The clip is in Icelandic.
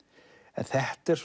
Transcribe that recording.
en þetta er